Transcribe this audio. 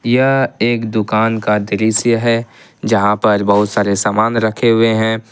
यह एक दुकान का दृश्य है जहां पर बहुत सारे सामान रखे हुए हैं।